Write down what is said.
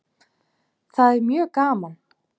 Það er mjög gaman.